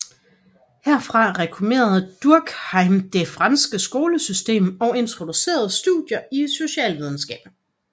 Herfra reformerede Durkheim det franske skolesystem og introducerede studier i socialvidenskab